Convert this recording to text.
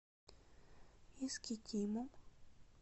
искитимом